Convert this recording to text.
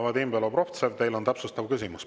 Vadim Belobrovtsev, teil on täpsustav küsimus.